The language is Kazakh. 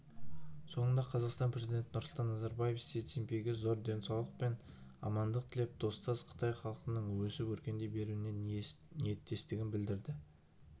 соңында қазақстан президенті нұрсұлтан назарбаев си цзиньпинге зор денсаулық пен амандық тілеп достас қытай халқының өсіп-өркендей беруіне ниеттестігін білдірді